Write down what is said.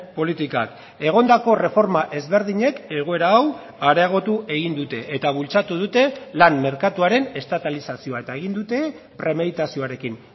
politikak egondako erreforma ezberdinek egoera hau areagotu egin dute eta bultzatu dute lan merkatuaren estatalizazioa eta egin dute premeditazioarekin